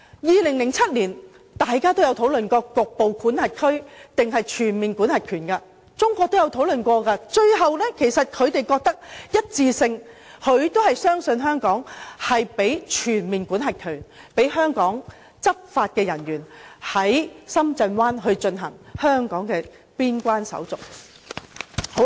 2007年，大家也曾討論局部管轄權還是全面管轄權的問題，中國也曾作討論，最後他們一致相信香港，賦予我們全面管轄權，讓香港的執法人員在深圳灣進行香港的邊關手續。